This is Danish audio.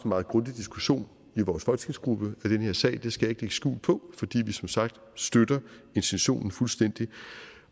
meget grundig diskussion i vores folketingsgruppe af den her sag det skal jeg ikke lægge skjul på fordi vi som sagt støtter intentionen fuldstændig